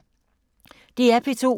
DR P2